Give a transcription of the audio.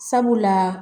Sabula